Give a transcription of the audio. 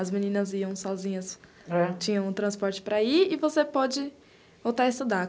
As meninas iam sozinhas, tinham transporte para ir e você pode voltar a estudar.